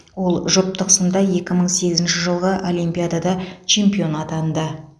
ол жұптық сында екі мың сегізінші жылғы олимпиадада чемпионы атанды